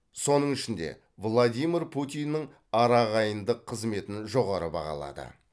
соның ішінде владимир путиннің араағайындық қызметін жоғары бағалады